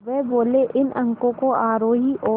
वे बोले इन अंकों को आरोही और